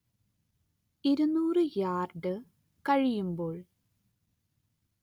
ഇരുനൂറ്‌ യാർഡ് കഴിയുമ്പോൾ